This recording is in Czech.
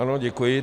Ano, děkuji.